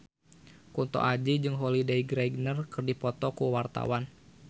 Kunto Aji jeung Holliday Grainger keur dipoto ku wartawan